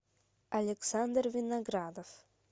александр виноградов